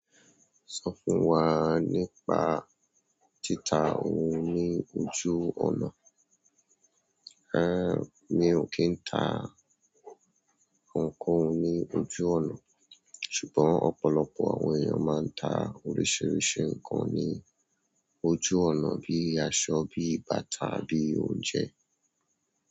Sọ fún wa nípa títa ohun ní ojú ọ̀nà. Mi ò kí ń ta ohunkóhun ní ojú ọ̀nà, ṣùgbọ́n ọ̀pọ̀lọpọ̀ àwọn èèyàn máa ń ta oríṣiríṣi nǹkan ní ojú ọ̀nà bíi aṣọ, bíi bàtà, bíi òunje.